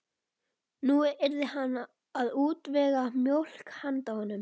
Nú yrði hann að útvega mjólk handa honum.